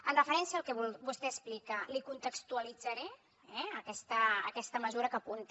en referència al que vostè explica li contextualitzaré eh aquesta mesura que apunta